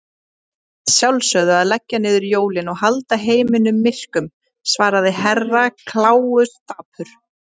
Að sjálfsögðu að leggja niður jólin og halda heiminum myrkum, svarði Herra Kláus dapur.